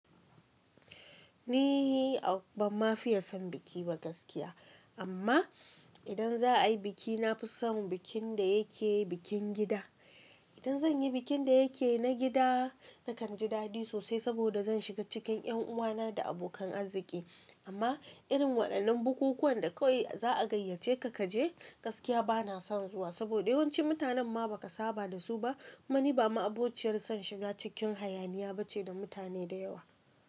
Ni ban ma fiye son biki ba gaskiya amma idan za'a yi biki nafi son bikin da yake bikin gida idan zan yi bikin da yake na gida, nakan ji daɗi sosai saboda zan shiga cikin ƴanuwana da abokan arziki. Amma irin waɗannan bukukuwan da kawai za a gayyace ka kaje gaskiya ba na son zuwa saboda yawanci mutanen ma ba ka saba da su ba. Kuma ni ba ma'abociyar son shiga cikin hayaniya ba ce da mutane da yawa.